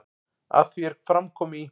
Að því er fram kom í